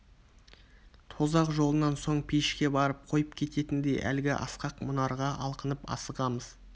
тозақ жолынан соң пейішке барып қойып кететіндей әлгі асқақ мұнарға алқынып асығамыз